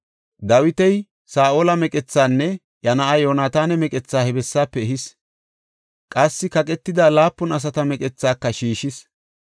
Dawiti Saa7ola meqethaanne iya na7aa Yoonataana meqethaa he bessaafe ehis. Qassi kaqetida laapun asata meqethaaka shiishis.